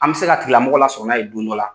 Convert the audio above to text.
An bɛ se ka tigilamɔgɔ lasɔrɔ na' ye don dɔ la